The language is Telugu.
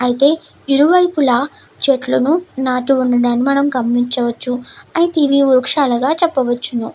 అయితే ఇరువైపులా చెట్లను నాటు ఉండడానికి మనం గమనించవచ్చు. అయితే ఇది వృక్షాలుగా చెప్పవచ్చు.